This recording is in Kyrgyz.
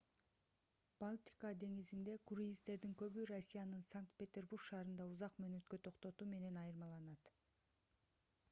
балтика деңизинде круиздердин көбү россиянын санкт-петербург шаарында узак мөөнөткө токтотуу менен айырмаланат